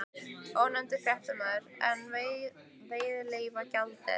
Ónefndur fréttamaður: En veiðileyfagjaldið?